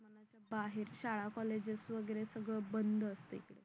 बाहेर शाळा कॉलेजेस वगैरे सगळं बंद असते